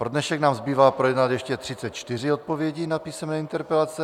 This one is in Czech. Pro dnešek nám zbývá projednat ještě 34 odpovědí na písemné interpelace.